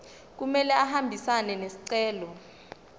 kumele ahambisane nesicelo